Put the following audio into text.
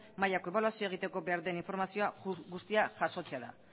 mailako ebaluazioa egiteko behar den informazio guztia jasotzea da